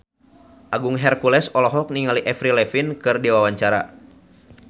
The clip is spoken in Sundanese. Agung Hercules olohok ningali Avril Lavigne keur diwawancara